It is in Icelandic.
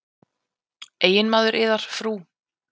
Eiginmaður yðar, frú?